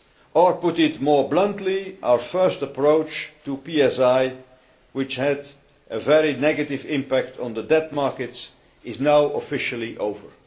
Or, to put it more bluntly, our first approach to PSI, which had a very negative impact on the debt markets, is now officially over.